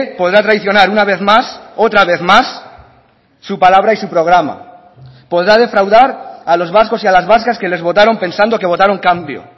podrá traicionar una vez más otra vez más su palabra y su programa podrá defraudar a los vascos y a las vascas que les votaron pensando que votaron cambio